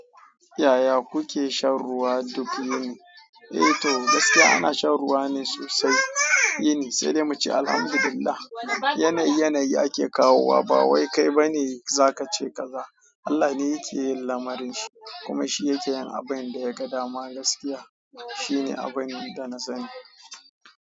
Yaya kuke shan ruwa duk yini? Eh to gaskiya ana shan ruwa ne sosai shine, sai dai muce Alhamdulillah yanayi yanayi ake kawowa ba wai kai ba ne za ka ce ka za. Allah ne yake yin lamarinshi kuma shi yake yin abin da ya ga dama. Gaskiya shine abin da na sanu.